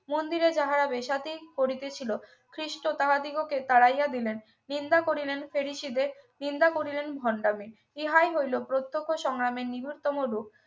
মন্দিরে যাহারা বেশ্যাতি করিয়াছিল খ্রিস্ট তাহাদিগকে তাড়াইয়া দিলেন নিন্দা করলেন ফেরিশিদের নিন্দা করলেন ভন্ডামি হলো প্রত্যক্ষ সংগ্রামের নিকটতম দুখ